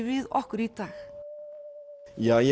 við okkur í dag ég